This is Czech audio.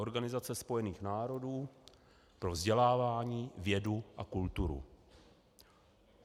Organizace Spojených národů pro vzdělávání, vědu a kulturu.